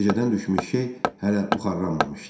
Gecədən düşmüş şeh hələ buxarlanmamışdı.